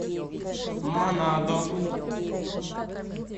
манадо